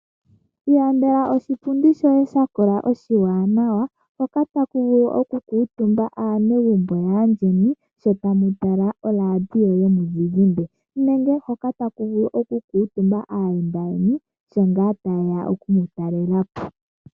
Ilandela oshipundi shoye sha kola oshiwanawa hoka taku vulu okukutumba aanegumbo yandjeni sho tamu tala oradio yomuzizimbe nenge hoka taku vulu okukutumba aayenda yeni sho ngaa ta yeya oku mu talela po.